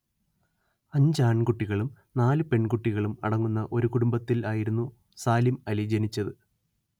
അഞ്ച്‌ ആൺകുട്ടികളും നാല്‌ പെൺകുട്ടികളും അടങ്ങുന്ന ഒരു കുടുംബത്തിൽ ആയിരുന്നു സാലിം അലി ജനിച്ചത്‌